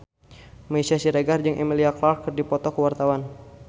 Meisya Siregar jeung Emilia Clarke keur dipoto ku wartawan